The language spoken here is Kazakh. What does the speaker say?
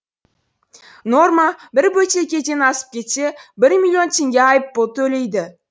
норма бір бөтелкеден асып кетсе бір миллион теңге айып пұл төлейді